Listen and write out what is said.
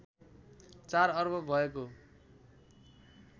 ४ अर्ब भएको